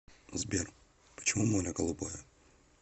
сбер почему море голубое